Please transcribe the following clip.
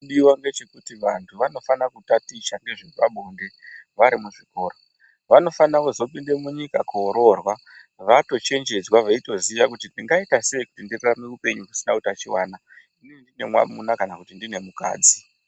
Chinodiwa ndechekuti vantu vanofana kutaticha nezvepabonde vari muzvikora. Vanofana kuzopinde munyika kuoroorwa vatochenjedzwa veitoziya kuti ndingaita sei kuti ndirarame upenyu husina utachiwana ndiine mwamuna kana kuti ndiine mukadzi.